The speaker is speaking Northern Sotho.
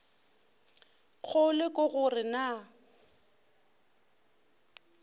kgolo ke go re na